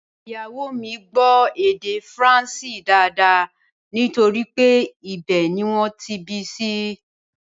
Ìyàwó o mi gbó èdè faransé dáadáa nítorí pé ibẹ̀ ni wọ́n bí i sí